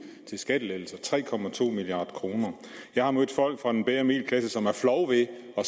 til skattelettelser tre milliard kroner jeg har mødt folk fra den bedre middelklasse som er flove ved at